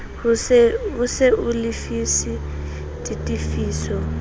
ho se o lefise ditefiso